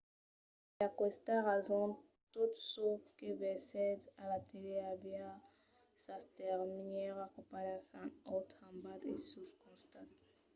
per aquesta rason tot çò que vesètz a la tele aviá sas termièras copadas en naut en bas e suls costats